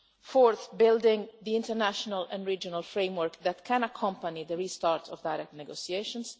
Fourth, building an international and regional framework that can accompany the restart of direct negotiations.